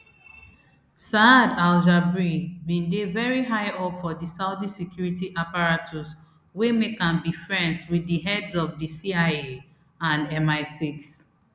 saad aljabri bin dey very high up for di saudi security apparatus wey make am be friends wit di heads of di cia and misix